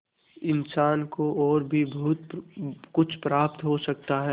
इंसान को और भी बहुत कुछ प्राप्त हो सकता है